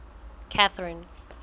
catherine